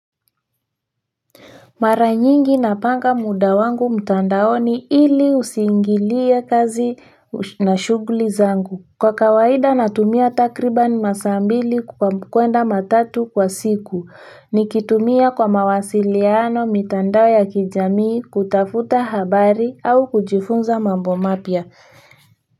Mara nyingi napanga muda wangu mtandaoni ili usiingilie kazi na shughuli zangu. Kwa kawaida natumia takriban masaa mawili hadi matatu kwa siku nikitumia kwa mawasiliano, mitandao ya kijamii, kutafuta habari au kujifunza mambo mapya.